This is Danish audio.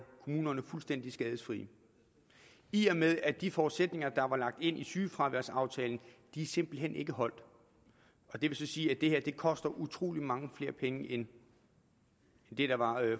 kommunerne fuldstændig skadesløse i og med at de forudsætninger der var lagt ind i sygefraværsaftalen simpelt hen ikke holdt det vil så sige at det her koster utrolig mange flere penge end det der var